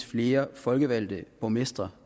flere folkevalgte borgmestre